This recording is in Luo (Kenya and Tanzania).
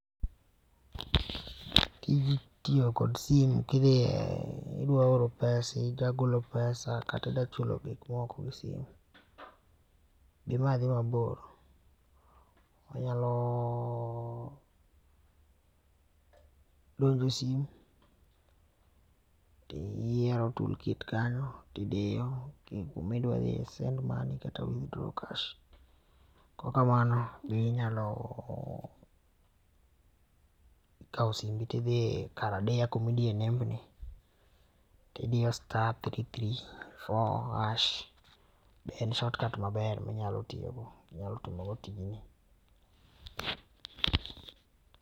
Tij tiyo kod simu kidhie, idwa oro pesa, idwa golo pesa, kata idwa chulo gik moko e simu, gima dhi mabor, inyalo donjo e simu to iyiero tool kit kanyo tidiyo ku ma idwa dhieye send money kata withdraw cash kok kamano be inyalo kao simbi to idhi karadiya kama idiye nembni to idiyo star three three four hash be en shortcut maber mi inyalo tiyo go inyalo timo go tijni.